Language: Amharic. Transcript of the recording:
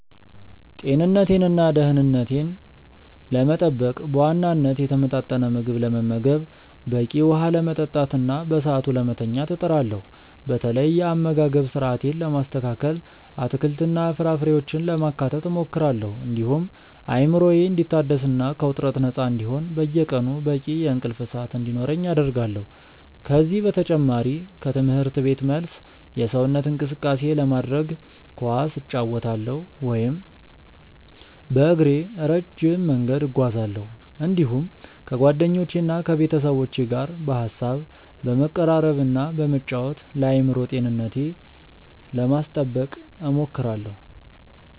ጤንነቴንና ደኅንነቴን ለመጠበቅ በዋናነት የተመጣጠነ ምግብ ለመመገብ፣ በቂ ውኃ ለመጠጣትና በሰዓቱ ለመተኛት እጥራለሁ። በተለይ የአመጋገብ ስርአቴን ለማስተካከል አትክልትና ፍራፍሬዎችን ለማካተት እሞክራለሁ፤ እንዲሁም አእምሮዬ እንዲታደስና ከውጥረት ነፃ እንዲሆን በየቀኑ በቂ የእንቅልፍ ሰዓት እንዲኖረኝ አደርጋለሁ። ከዚህ በተጨማሪ ከትምህርት ቤት መልስ የሰውነት እንቅስቃሴ ለማድረግ ኳስ እጫወታለሁ ወይም በእግሬ ረጅም መንገድ እጓዛለሁ፤ እንዲሁም ከጓደኞቼና ከቤተሰቦቼ ጋር በሐሳብ በመቀራረብና በመጫወት ለአእምሮ ጤንነቴ ለማስጠበቅ እሞክራለሁ።